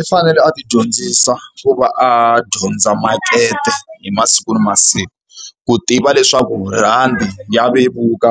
I fanele a ti dyondzisa ku va a dyondza makete hi masiku na masiku, ku tiva leswaku rhandi ya vevuka